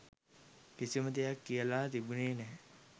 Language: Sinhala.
කිසිම දෙයක් කියලා තිබුණෙ නැහැ.